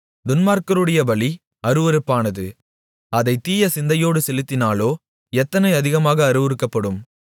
துன்மார்க்கருடைய பலி அருவருப்பானது அதைத் தீயசிந்தையோடு செலுத்தினாலோ எத்தனை அதிகமாக அருவருக்கப்படும்